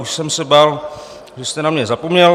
Už jsem se bál, že jste na mě zapomněl.